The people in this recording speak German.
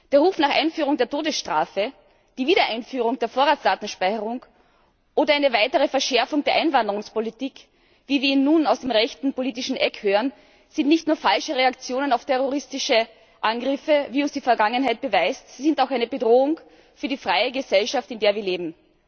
Die Rufe nach Einführung der Todesstrafe, nach Wiedereinführung der Vorratsdatenspeicherung oder einer weiteren Verschärfung der Einwanderungspolitik, wie wir sie nun aus dem rechten politischen Eck hören, sind nicht nur falsche Reaktionen auf terroristische Angriffe, wie uns die Vergangenheit beweist, sie sind auch eine Bedrohung für die freie Gesellschaft, in der wir leben.